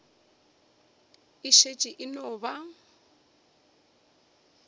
e šetše e no ba